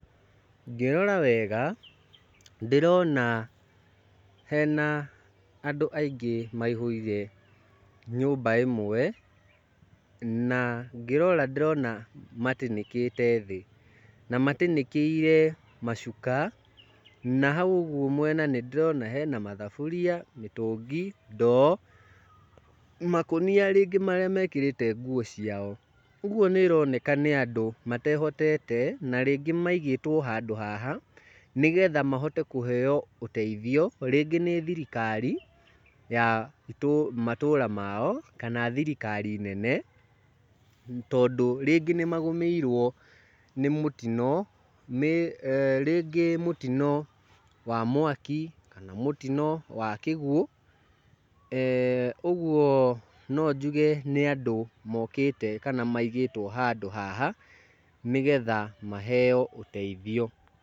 Ngĩrora wega ndĩrona hena andũ aingi maihũire nyũmba ĩmwe, na ngĩrora ndĩrona matĩnĩkĩte thĩ. Na matĩnĩkĩire macuka na hau ũguo mwena nĩ ndĩrona hena mathaburia, mĩtũngi, ndoo, makũnia rĩngĩ marĩa mekĩrĩte nguo ciao. Ũguo nĩ ĩroneka nĩ andũ matehotete na rĩngĩ maigĩtwo handũ haha nĩgetha mahote kũheyo ũteithio rĩngĩ nĩ thirikari ya matũra mao, kana thirikari nene. Tondũ rĩngĩ nĩ magũmĩirwo nĩ mũtino rĩngĩ mũtino wa mwaki, kana mũtino wa kĩguo. eeh Ũguo no njuge nĩ andũ mokĩte kana maigĩtwo handũ haha, nĩgetha maheyo ũteithio.